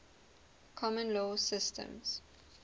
common law systems